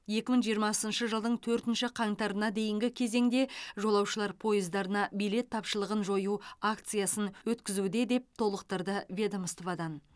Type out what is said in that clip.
екі мың жиырмасыншы жылдың төртінші қаңтарына дейінгі кезеңде жолаушылар пойыздарына билет тапшылығын жою акциясын өткізуде деп толықтырды ведомстводан